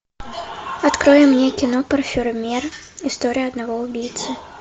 открой мне кино парфюмер история одного убийцы